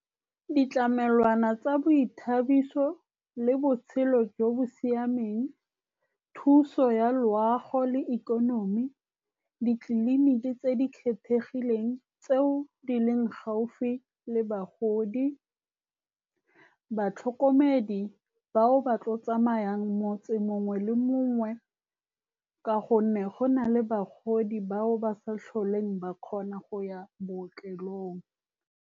Ditlamelwana tsa boithabiso le botshelo jo bo siameng, thuso ya loago le ikonomi, ditleliniki tse di kgethegileng tseo di leng gaufi le bagodi, batlhokomedi bao ba tlileng go tsamaya motse o mongwe le o mongwe, ka gonne go na le bagodi bao ba sa tlholeng ba kgona go ya bookelong.